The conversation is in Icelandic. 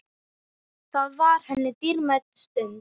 Það var henni dýrmæt stund.